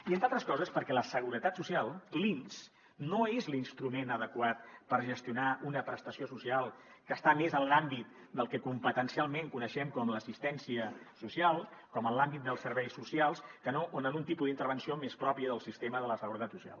i entre altres coses perquè la seguretat social l’inss no és l’instrument adequat per gestionar una prestació social que està més en l’àmbit del que competencialment coneixem com l’assistència social com en l’àmbit dels serveis socials que no en un tipus d’intervenció més pròpia del sistema de la seguretat social